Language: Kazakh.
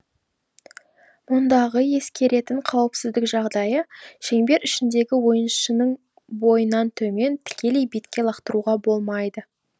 мұндағы ескеретін қауіпсіздік жағдайы шеңбер ішіндегі ойыншының бойынан төмен тікелей бетке лақтыруға болмайды